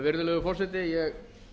virðulegur forseti ég